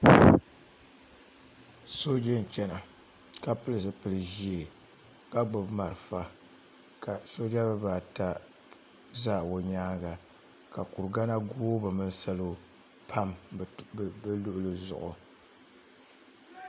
Sooja n chena ka pili zipil'ʒee ka gbibi malifa ka sooja bibaata za o nyaanga ka kurigana googi bɛ mini salo pam bɛ luɣuli zuɣu.